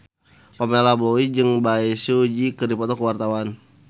Pamela Bowie jeung Bae Su Ji keur dipoto ku wartawan